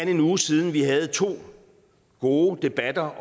en uge siden vi havde to gode debatter